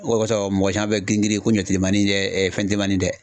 O de kɔsɔn mɔgɔ cama be girin girin ko ɲɔ telimanin dɛ ɛ fɛn telimanin dɛ